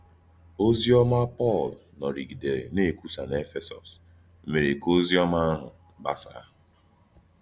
Òzì òma Pọ́l nòrìgìdèrè na-ekwùsà n’Éfèsọ́s mèré ka òzì òma àhụ̀ gbàsàà.